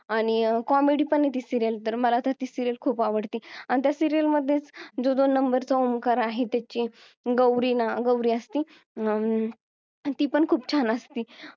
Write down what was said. आणि comedy पण ती serial तर मला तर ती serial खूप आवडते आणि त्या serial मध्येच जो दोन नंबरचा ओंकार आहे त्याची गौरी ना~ गौरी असती ती पण खूप छान असती